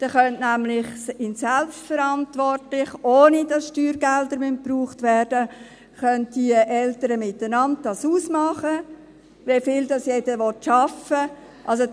Dann könnten diese Eltern nämlich selbstverantwortlich, ohne dass Steuergelder verwendet werden, untereinander ausmachen, wer wie viel arbeiten will.